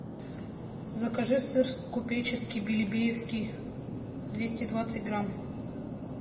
закажи сыр купеческий билебеевский двести двадцать грамм